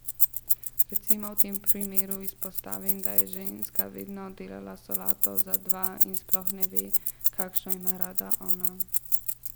Recimo v tem primeru izpostavim, da je ženska vedno delala solato za dva in sploh ne ve, kakšno ima rada ona.